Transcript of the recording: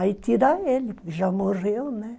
Aí tira ele, porque já morreu, né?